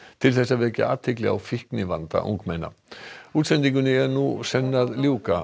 til að vekja athygli á fíknivanda ungmenna útsendingunni er nú senn að ljúka